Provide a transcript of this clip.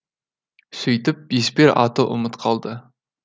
сөйтіп еспер аты ұмыт қалды